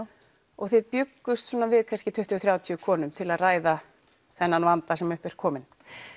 og þið bjuggust við kannski tuttugu til þrjátíu konum til að ræða þennan vanda sem upp er kominn